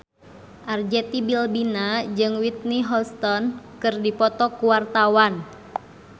Arzetti Bilbina jeung Whitney Houston keur dipoto ku wartawan